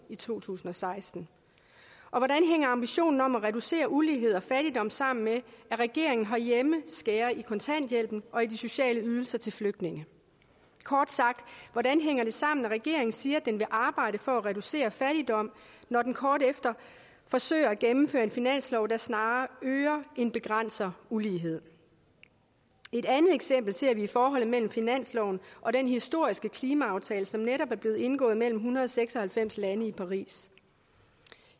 i to tusind og seksten og hvordan hænger ambitionen om at reducere ulighed og fattigdom sammen med at regeringen herhjemme skærer i kontanthjælpen og i de sociale ydelser til flygtninge kort sagt hvordan hænger det sammen at regeringen siger at den vil arbejde for at reducere fattigdom når den kort efter forsøger at gennemføre en finanslov der snarere øger end begrænser ulighed et andet eksempel ser vi i forholdet mellem finansloven og den historiske klimaaftale som netop er blevet indgået mellem en hundrede og seks og halvfems lande i paris